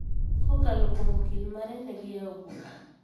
Kokalo kuom okil mare, ne giyawo bura